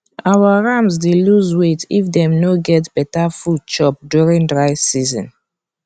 our rams dey loose weight if dem no get better food chop during dry season